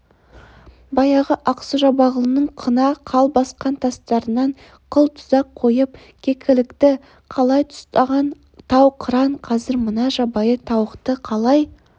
баяғы ақсу-жабағылының қына қал басқан тастарынан қыл-тұзақ қойып кекілікті талай ұстаған тау қыран қазір мына жабайы тауықты қалай